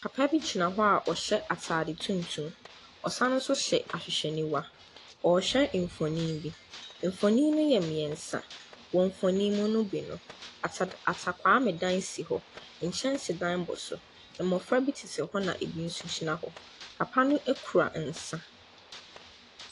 Papa bi gyina hɔ a ɔhyɛ ataade tuntum. Ɔsan hyɛ ahwehwɛniwa. Ɔrehwɛ mfoni bi. Mfono no yɛ mmiɛnsa. Wɔ mfoni no mu bi no, ata kwaame dan si hɔ. Nkyɛnsedan bɔ so. Mmɔfra bi tete hɔ na ebi nso gyina hɔ. Papa no kura nsa.